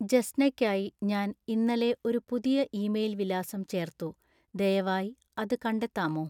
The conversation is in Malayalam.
ജെസ്നയ്‌ക്കായി ഞാൻ ഇന്നലെ ഒരു പുതിയ ഇമെയിൽ വിലാസം ചേർത്തു ദയവായി അത് കണ്ടെത്താമോ